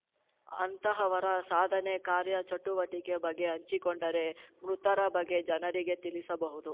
ಅಂತಹವರ ಸಾಧನೆ ಕಾರ್ಯ ಚಟುವಟಿಕೆ ಬಗ್ಗೆ ಹಂಚಿಕೊಂಡರೆ ಮೃತರ ಬಗ್ಗೆ ಜನರಿಗೆ ತಿಳಿಸಬಹುದು